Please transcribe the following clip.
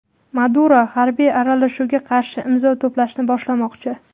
Maduro harbiy aralashuvga qarshi imzo to‘plashni boshlamoqchi.